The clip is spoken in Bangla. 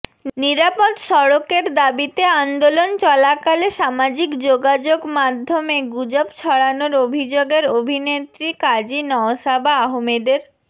নিরাপদ সড়কের দাবিতে আন্দোলন চলাকালে সামাজিক যোগাযোগ মাধ্যমে গুজব ছড়ানোর অভিযোগের অভিনেত্রী কাজী নওশাবা আহমেদের